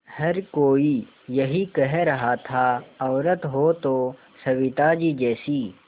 हर कोई यही कह रहा था औरत हो तो सविताजी जैसी